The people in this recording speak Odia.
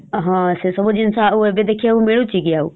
ହଁ ସେ ସବୁ ଜିନିଷ ଆଉ ଏବେ ଦେଖିବାକୁ ମିଳୁଚିକି ଆଉ ?